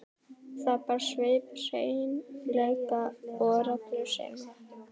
Það bar svip hreinleika og reglusemi.